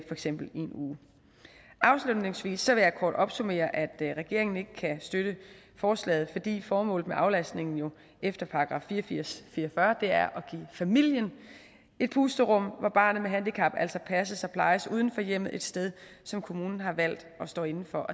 eksempel i en uge afslutningsvis vil jeg kort opsummere at regeringen ikke kan støtte forslaget fordi formålet med aflastningen jo efter § fire og firs jævnfør fire og fyrre er at give familien et pusterum hvor barnet med handicap altså passes og plejes uden for hjemmet et sted som kommunen har valgt og står inde for